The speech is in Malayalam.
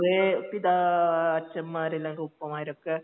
പൊതുവേ പിതാ അച്ചന്മാരല്ലെങ്കിൽ ഉപ്പമാരൊക്കെ